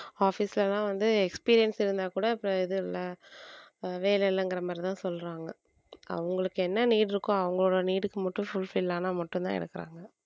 office ல எல்லாம் வந்து experience இருந்தா கூட இப்ப இது இல்ல வேலை இல்லைங்கிற மாதிரி தான் சொல்றாங்க அவங்களுக்கு என்ன need இருக்கோ அவங்களோட need க்கு மட்டும் fulfill ஆனா மட்டும்தான்எடுக்குறாங்க